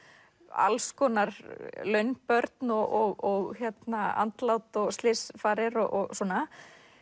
alls konar launbörn og andlát og slysfarir og svona